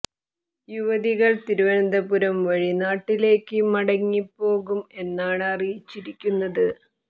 യുവതികൾ തിരുവനന്തപുരം വഴി നാട്ടിലേക്ക് മടങ്ങി പോകും എന്നാണ് അറിയിച്ചിരിക്കുന്നത്